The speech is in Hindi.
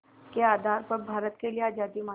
के आधार पर भारत के लिए आज़ादी मांगी